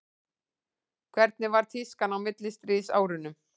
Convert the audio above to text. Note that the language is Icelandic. hvernig var tískan á millistríðsárunum